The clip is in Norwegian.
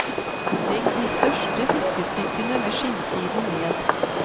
Legg de største fiskestykkene med skinnsiden ned.